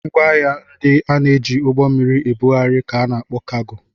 Ngwaahịa ndị a na-eji ụgbọ mmiri ebugharị ka a na-akpọ kaago.